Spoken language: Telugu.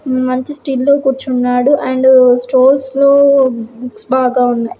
హు మంచి స్టిల్ లో కూర్చున్నాడు. అండ్ స్టోర్స్ లో బుక్స్ బాగా ఉన్నాయ్.